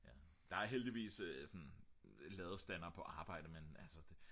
der er heldigvis sådan ladestander på arbejde men altså det